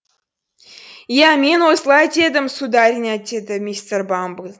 иә мен осылай дедім сударыня деді мистер бамбл